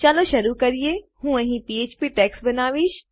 ચાલો શરુ કરીએહું અહીં પીએચપી ટેગ્સ બનાવીશ